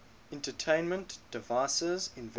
entertainment devices invented